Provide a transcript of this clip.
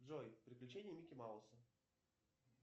джой приключения микки мауса